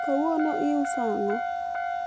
kawuono iuso ango?